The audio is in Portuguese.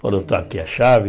Falou, está aqui a chave.